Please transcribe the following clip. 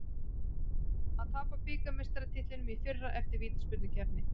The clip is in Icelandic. Að tapa bikarmeistaratitlinum í fyrra eftir vítaspyrnukeppni